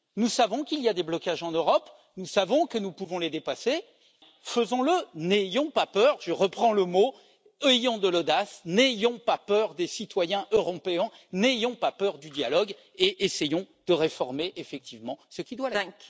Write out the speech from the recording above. Nous savons qu'il y a des blocages en Europe, nous savons que nous pouvons les dépasser alors faisons le, n'ayons pas peur, je reprends le mot ayons de l'audace, n'ayons pas peur des citoyens européens, n'ayons pas peur du dialogue et essayons de réformer, effectivement, ce qui doit l'être.